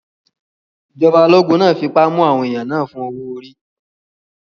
Ìjọba ológun náà fipá mú àwọn èèyàn náà fún owó-orí